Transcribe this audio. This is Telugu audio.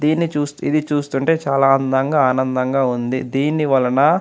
దీన్ని చుస్తే ఇది చూస్తుంటే చాల అందంగా ఆనందంగా ఉంది దీనివలన.